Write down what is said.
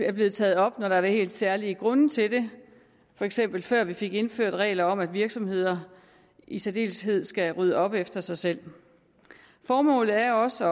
er blevet taget op når der har været helt særlige grunde til det for eksempel før vi fik indført regler om at virksomheder i særdeleshed skal rydde op efter sig selv formålet er også